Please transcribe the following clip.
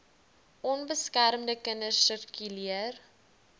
onbeskermde kinders sirkuleer